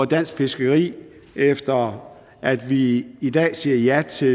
dansk fiskeri efter at vi i dag siger ja til